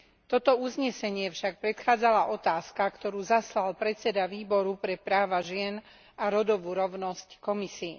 Toto uznesenie však predchádzala otázka, ktorú zaslal predseda výboru pre práva žien a rodovú rovnosť Komisii.